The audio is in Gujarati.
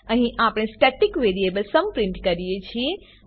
અહીં આપણે સ્ટેટિક વેરીએબલ સુમ પ્રીંટ કરીએ છીએ